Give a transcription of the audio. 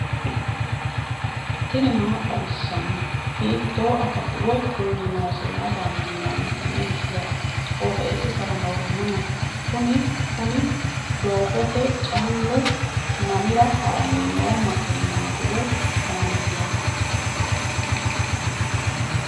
tini maa xawissanno ? hiitto akati woy kuuli noose yaa dandiinanni tenne misilera? qooxeessisera noori maati? kuni kuni doogote callu mamira haranni noo makeenaati woy kaameelati